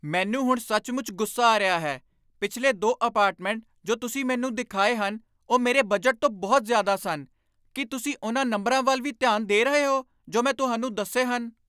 ਮੈਨੂੰ ਹੁਣ ਸੱਚਮੁੱਚ ਗੁੱਸਾ ਆ ਰਿਹਾ ਹੈ। ਪਿਛਲੇ ਦੋ ਅਪਾਰਟਮੈਂਟ ਜੋ ਤੁਸੀਂ ਮੈਨੂੰ ਦਿਖਾਏ ਹਨ ਉਹ ਮੇਰੇ ਬਜਟ ਤੋਂ ਬਹੁਤ ਜ਼ਿਆਦਾ ਸਨ। ਕੀ ਤੁਸੀਂ ਉਨ੍ਹਾਂ ਨੰਬਰਾਂ ਵੱਲ ਵੀ ਧਿਆਨ ਦੇ ਰਹੇ ਹੋ ਜੋ ਮੈਂ ਤੁਹਾਨੂੰ ਦੱਸੇ ਹਨ?